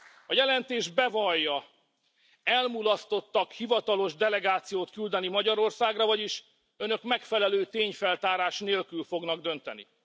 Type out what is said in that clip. A jelentés bevallja, hogy elmulasztottak hivatalos delegációt küldeni Magyarországra, vagyis Önök megfelelő tényfeltárás nélkül fognak dönteni.